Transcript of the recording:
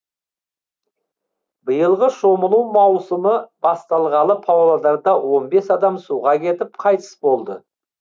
биылғы шомылу маусымы басталғалы павлодарда он бес адам суға кетіп қайтыс болды